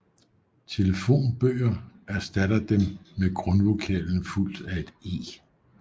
Telefonbøger erstatter dem med grundvokalen fulgt af et e